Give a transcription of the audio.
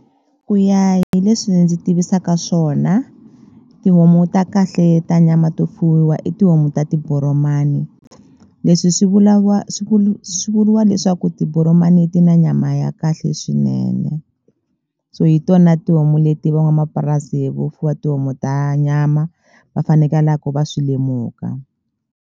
Ku ya hi leswi ndzi tivisaka swona tihomu ta kahle ta nyama to fuyiwa i tihomu ta tiboromani leswi swi swi swi vuriwa leswaku ku tiboromani ti na nyama ya kahle swinene so hi tona tihomu leti van'wamapurasi vo fuwa tihomu ta nyama va fanekelaku va swi lemuka.